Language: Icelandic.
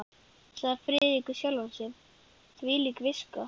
sagði Friðrik við sjálfan sig, hvílík viska!